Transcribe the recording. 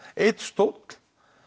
einn stóll